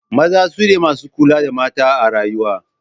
Maza su ne masu kula da mata a rayuwa.